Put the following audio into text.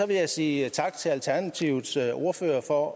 vil jeg sige tak til alternativets ordfører for